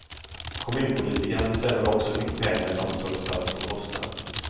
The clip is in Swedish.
Kommunpolitikerna bestämmer också hur mycket pengar en omsorgsplats får kosta.